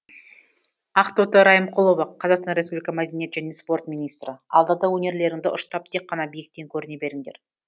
ақтоты райымқұлова қазақстан республика мәдениет және спорт министрі алда да өнерлеріңді ұштап тек қана биіктен көріне беріңдер